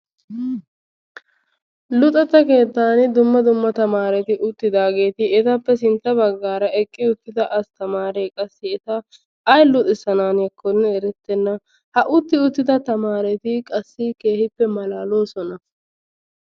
luxetta keettan dumma dumma tamaaeti uttidaageti eetappe sintta baggara eqqi uttidda astamaree qassi eta ayi luxisananiyaakonne erettenna. ha utti uttida tamareti qassi keehippe malaalosona.